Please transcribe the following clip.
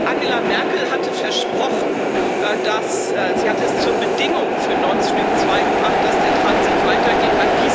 Angela Merkel hat versprochen, sie hat es zur Bedingung für Nord Stream 2 gemacht, dass der Transit weitergeht.